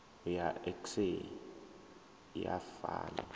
ya iks a i fani